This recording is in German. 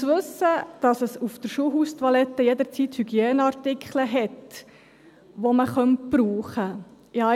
Zu wissen, dass es auf der Schulhaustoilette jederzeit Hygieneartikel hat, die man verwenden könnte: